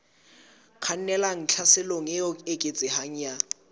kgannelang tlhaselong e eketsehang ya